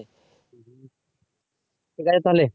ঠিক আছে তাহলে।